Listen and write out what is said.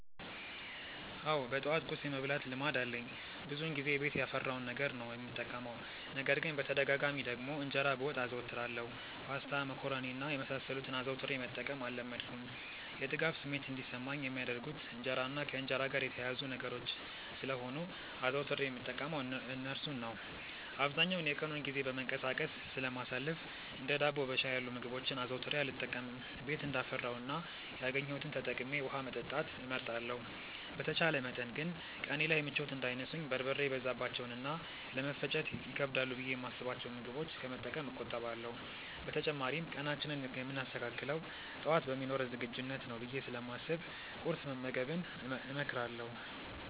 አዎ በጠዋት ቁርስ የመብላት ልማድ አለኝ። ብዙውን ጊዜ ቤት ያፈራውን ነገር ነው የምጠቀመው። ነገር ግን በተደጋጋሚ ደግሞ እንጀራ በወጥ አዘወትራለሁ። ፓስታ፣ መኮሮኒ እና የመሳሰሉትን አዘውትሬ መጠቀም አልለመድኩም። የጥጋብ ስሜት እንዲሰማኝ የሚያደርጉት እንጀራ እና ከእንጀራ ጋር የተያያዙ ነገሮች ስለሆኑ አዘውትሬ የምጠቀመው እርሱን ነው። አብዛኛውን የቀኑን ጊዜ በመንቀሳቀስ ስለማሳልፍ እንደ ዳቦ በሻይ ያሉ ምግቦችን አዘውትሬ አልጠቀምም። ቤት እንዳፈራው እና ያገኘሁትን ተጠቅሜ ውሀ መጠጣት እመርጣለሁ። በተቻለ መጠን ግን ቀኔ ላይ ምቾት እንዳይነሱኝ በርበሬ የበዛባቸውን እና ለመፈጨት ይከብዳሉ ብዬ የማስብቸውን ምግቦች ከመጠቀም እቆጠባለሁ። በተጨማሪም ቀናችንን የምናስተካክለው ጠዋት በሚኖረን ዝግጁነት ነው ብዬ ስለማስብ ቁርስ መመገብን እመክራለሁ።